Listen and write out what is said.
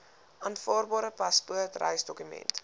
aanvaarbare paspoort reisdokument